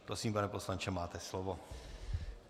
Prosím, pane poslanče, máte slovo.